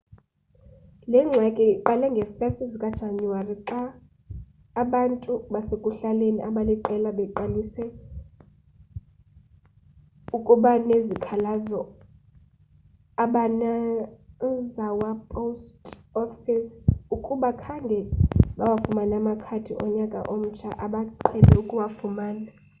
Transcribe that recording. le ngxaki iqale ngee-1 zikajanuwari xa abantu basekuhlaleni abaliqela beqalise ukubanezikhalazo kwi-obanazawa post office ukuba khange bawafumane amakhadi onyaka omtsha abaqhele ukuwafumana